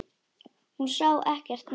Hún sá ekkert nema hann!